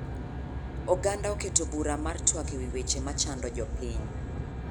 Oganda oketo bura mar twak ewi weche machando jopiny.